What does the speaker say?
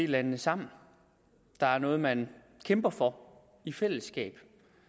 landene sammen der er noget man kæmper for i fællesskab